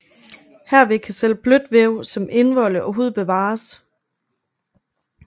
Herved kan selv blødt væv som indvolde og hud bevares